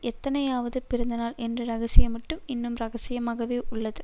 எத்தனையாவது பிறந்தநாள் என்ற ரகசியம் மட்டும் இன்னும் ரகசியமாகவே உள்ளது